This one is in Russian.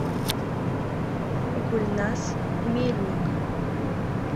гульназ мельник